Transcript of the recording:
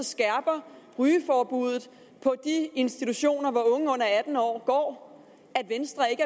skærper rygeforbuddet på de institutioner hvor unge under atten år går er venstre ikke